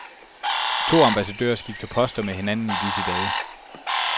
To ambassadører skifter poster med hinanden i disse dage.